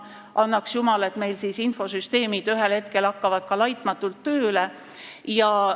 Annaks jumal, et meil infosüsteemid ühel hetkel laitmatult tööle hakkavad.